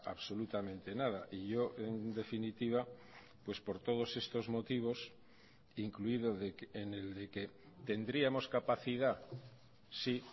absolutamente nada y yo en definitiva pues por todos estos motivos incluido en el de que tendríamos capacidad sí